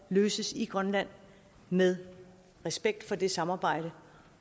løses i grønland med respekt for det samarbejde